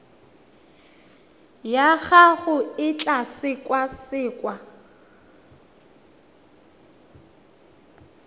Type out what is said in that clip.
ya gago e tla sekasekwa